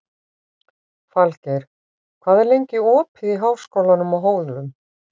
Falgeir, hvað er lengi opið í Háskólanum á Hólum?